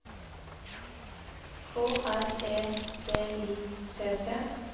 K R E D I T T